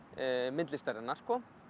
myndlistarinnar